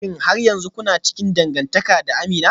Shin har yanzu kuna cikin dangantaka da Amina?